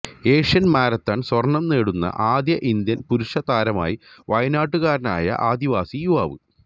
Asian marathon സ്വര്ണ്ണം നേടുന്ന ആദ്യ ഇന്ത്യന് പുരുഷ താരമായി വയനാട്ടുകാരനായ ആദിവാസി യുവാവ്